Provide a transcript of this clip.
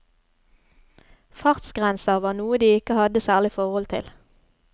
Fartsgrenser var noe de ikke hadde særlig forhold til.